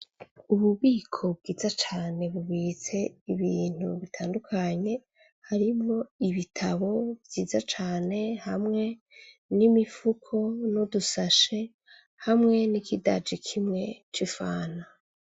Ububiko bwiza cane bubitse ibintu bitandukanye harimwo ibitabo vyiza cane hamwe n'udufuko nudusashe hamwe n'ikidaji kimwe c’ifanta.